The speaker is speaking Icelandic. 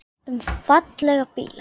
Hann verður líka mjög heitur.